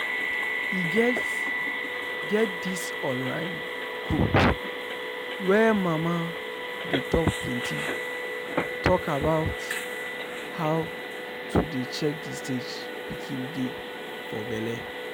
e get get this online group where mama's dey talk plenty talk about how to dey check the stage pikin dey for belle.